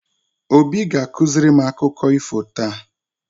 Obi ga-akụziri m akụkọ ifo taa.